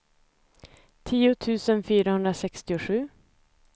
tio tusen fyrahundrasextiosju